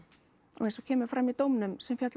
og eins og kemur fram í dómnum sem féll á